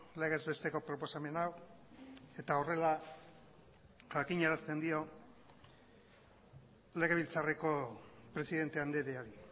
legez besteko proposamen hau eta horrela jakinarazten dio legebiltzarreko presidente andreari